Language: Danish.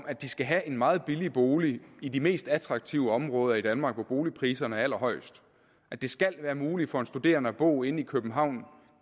at de skal have en meget billig bolig i de mest attraktive områder i danmark hvor boligpriserne er allerhøjest det skal være muligt for en studerende at bo inde i københavn